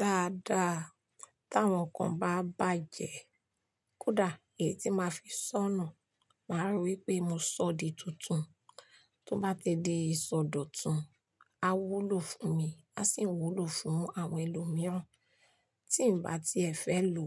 Dáadáa, tí àwọn kan bá bàjẹ́, kódà èyí tí máa fi sọ́nù, màá rí wipé mo sọ di tuntun. Tí ó bá ti di ìsọdọ̀tun, a wúlò fún mi, a sì ń wúlò fún àwọn ẹlòmíràn. Tí ǹ bá ti ẹ̀ fẹ́ lò